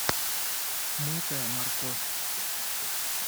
мытая морковь